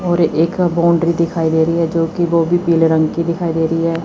और एक का बाउंड्री दिखाई दे रही है जो कि वो भी पीले रंग की दिखाई दे रही है।